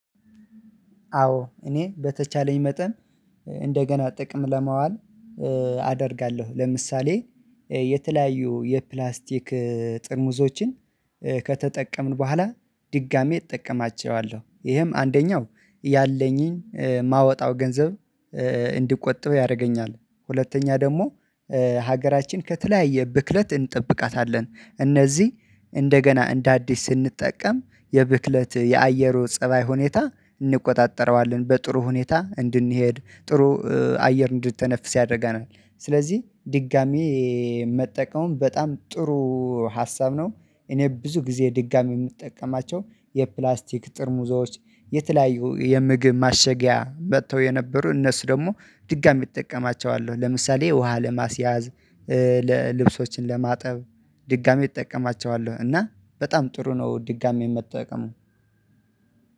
አዎ እኔ በተቻለኝ መጠን እንደገና ጥቅም ለማዋል አደርጋለሁ። ለምሳሌ የተለያዩ የፕላስቲክ ጥርሙዞችን ከተጠቀምን በኋላ ድጋሜ እጠቀማቸዋለሁ ይህም አንደኛው ያለኝን የማወጣውን ገንዘብ እንዲቆጠብ ያደርገኛል። ሁለተኛ ደግሞ ሀገራችን ከተለያየ ብክለት እንጠብቃታለን እነዚህ እንደገና እንደ አዲስ ስንጠቀም የብክለት የአየሩ ፀባይ ሁኔታ እንቆጣጠረዋለን በጥሩ ሁኔታ እንድንሄድ ጥሩ አየር እንድተነፍስ ያደርገናል። ስለዚህ ድጋሚ ሀ መጠቀም በጣም ጥሩ ሀሳብ ነው። እኔ ብዙ ጊዜ ድጋሚ የምጠቀማቸው የፕላስቲክ ጥርሙዞች የተለያዩ የምግብ ማሸጊያ መጥተው የነበሩ እነሱ ደግሞ ድጋሚ እጠቀማቸዋለሁ ለምሳሌ ውሃ ለማስያዝ ለልብሶችን ለማጠብ ድጋሜ እጠቀማቸዋለሁ እና በጣም ጥሩ ነው። ድጋሜ መጠቀሙ።